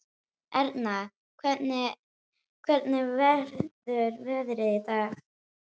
Erna, hvernig verður veðrið á morgun?